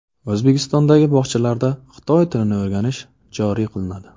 O‘zbekistondagi bog‘chalarda xitoy tilini o‘rganish joriy qilinadi.